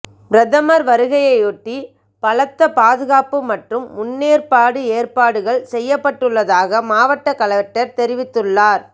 பிரதமர் வருகையையொட்டி பலத்த பாதுகாப்பு மற்றும் முன்னேற்பாடு ஏற்பாடுகள் செய்யப்பட்டுள்ளதாக மாவட்டகலெக்டர் தெரிவித்துள்ளார்